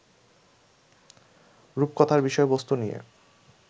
রূপকথার বিষয়বস্তু নিয়ে